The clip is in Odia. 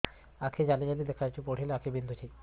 ଆଖି ଜାଲି ଜାଲି ଦେଖାଯାଉଛି ପଢିଲେ ଆଖି ବିନ୍ଧୁଛି